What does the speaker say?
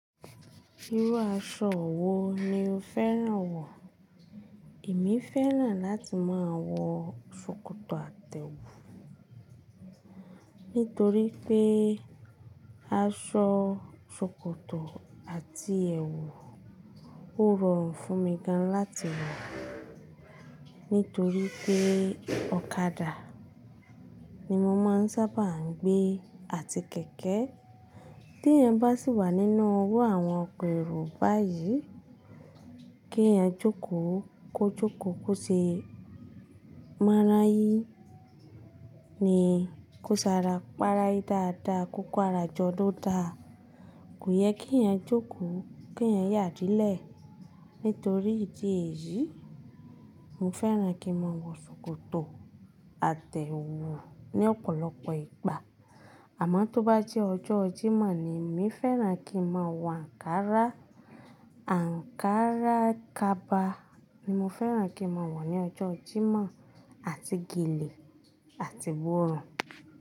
Irú aṣọ wo ni o fẹ́ràn wọ̀? Èmi fẹ́ràn láti máa wọ ṣòkòtò àtẹ wù nítorí pé aṣọ ṣòkòtò àti ẹwù ó rọrùn fún mi gan láti wọ̀ nítorí pé ọ̀kadà ni mo máa ń sábà gbé àti kẹ̀kẹ́. Tí èèyàn bá sì wà nínú irú àwọn ọkọ èrò báyìí, kí èèyàn jókòó, kó jókòó kó ṣe mọ́ra yí ni kó sara, para í dáadáa, kó kò ara jọ ló da. Kò yẹ kí èèyàn jókòó, kí èèyàn yà dílẹ̀. Nítorí ìdí èyí, mo fẹ́ràn kí n máa wọ ṣòkòtò àtẹ wù ní ọ̀pọ̀lọpọ̀ ìgbà. Àmọ́ tó bá jẹ́ ọjọ́ Jímọ̀ ni èmi fẹ́ràn kí n máa wọ ankara. Ankara kaba ni mo fẹ́ràn kí n máa wọ̀ ní ọjọ́ Jímọ̀ àti gèlè àti iborùn.